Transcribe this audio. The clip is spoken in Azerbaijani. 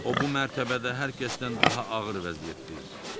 O bu mərtəbədə hər kəsdən daha ağır vəziyyətdə idi.